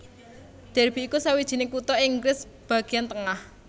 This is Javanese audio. Derby iku sawijining kutha ing Inggris bagéan tengah